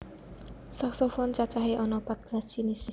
Saksofon cacahé ana pat belas jinis